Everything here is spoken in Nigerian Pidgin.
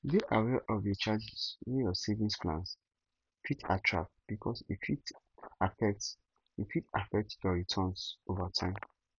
dey aware of the charges wey your savings plans fit attract because e fit affect e fit affect your returns over time